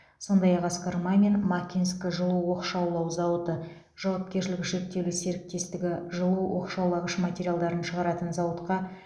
сондай ақ асқар мамин макинск жылу оқшаулау зауыты жауапкершілігі шектеулі серіктестігі жылу оқшаулағыш материалдарын шығаратын зауытқа